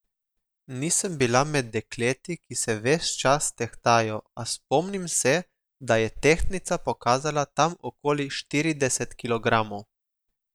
Nisem bila med dekleti, ki se ves čas tehtajo, a spomnim se, da je tehtnica pokazala tam okoli štirideset kilogramov.